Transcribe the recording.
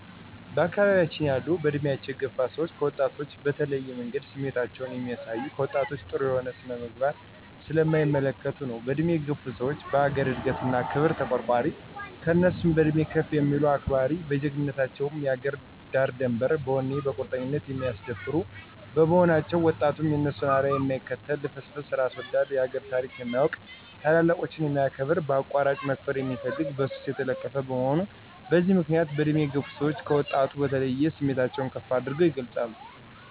በአካባቢያችን ያሉ በእድሜ የገፋ ሰዎች ከወጣቶች በተለየ መንገድ ስሜታቸውን የሚያሳዩት፣ ከወጣቶች ጥሩ የሆነ ስነ-ምግባር ስለማይመለከቱ ነው። በእድሜ የገፋ ሰዎች ለአገር እድገት እና ክብር ተቋርቋሪ፣ ከእነሱ በእድሜ ከፍ የሚሉትን አክባሪ፣ በጀግንነታቸ ውም የአገርን ዳርድንበር በወኔ በቁርጠኝነት የማያስደፍሩ በመሆናቸው፤ ወጣቱም የእነሱን አርያ የማይከተል ልፍስፍስ፣ እራስ ወዳድ፣ የአገሩን ታሪክ የማያውቅ፣ ታላላቆችን የማያከብር፣ በአቋራጭ መክበር የሚፈልግ፣ በሱስ የተለከፈ፣ በመሆኑ በዚህ ምክንያት በእድሜ የገፋ ሰወች ከወጣቱ በተለየ ስሜታቸውን ከፍ አድርገው ይገልፃሉ።